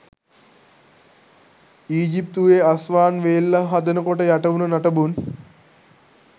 ඊජිප්තුවෙ Aswan වේල්ල හදනකොට යටවුන නටබුන්